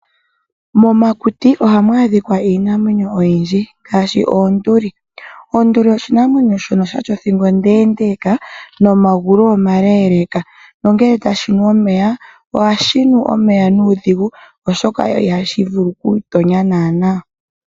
Momakuti ohamu adhika iinamwenyo oyindji ngaashi oonduli. Onduli oshinamwenyo shono shatya othingo onde ndeka nomagulu omale leka nongele tashi nu omeya ohashi nu omeya nuudhigu oshoka ihashi vulu oku itonya nana.